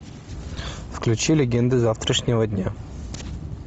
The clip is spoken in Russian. включи легенды завтрашнего дня